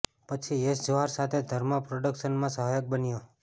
પછી યશ જોહર સાથે ધર્મા પોડક્શન્સમાં સહાયક બન્યો